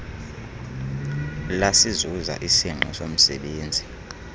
lasizuza isingqi somzebenzi